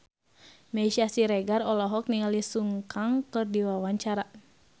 Meisya Siregar olohok ningali Sun Kang keur diwawancara